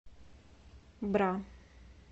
бра